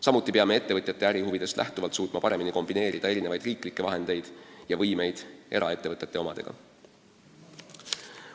Samuti peame ettevõtjate ärihuvidest lähtuvalt suutma paremini kombineerida erinevaid riigi vahendeid ja võimeid eraettevõtete omadega.